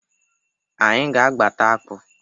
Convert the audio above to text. Anyị ga-agbata akpụ.